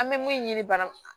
An bɛ mun ɲini bana